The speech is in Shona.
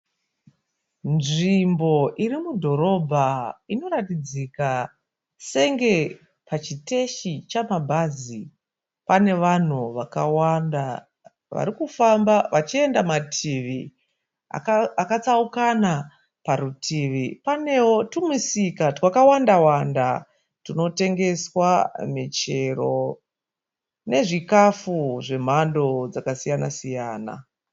Nzvimbo iri mudhorobha inoratidzika senge pachiteshi chamabhazi. Pane vanhu vakawanda varikufamba vachienda mativi akatsaukana. Parutivi panewo tumisika twakawanda wanda tunotengeswa michero nezvikafu zvemhando dzakasiyana siyana.